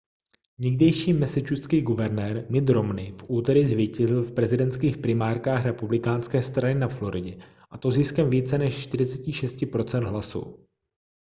někdejší massachusettský guvernér mitt romney v úterý zvítězil v prezidentských primárkách republikánské strany na floridě a to ziskem více než 46 % hlasů